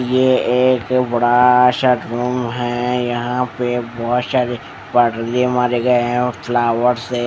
ये एक बड़ा सा रूम है यहाँ पे बहुत सारे पड़दे मारे गए है और फ्लावर्स है ।